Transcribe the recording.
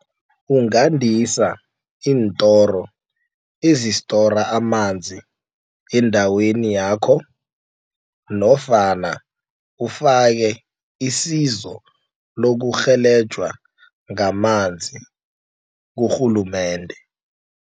Ungandisa iintoro ezistora amanzi endaweni yakho nofana ufake isizo lokurhelenjwa ngamanzi kurhulumende.